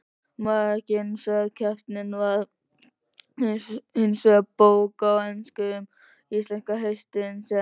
Meginverkefnið var hinsvegar bók á ensku um íslenska hestinn, sem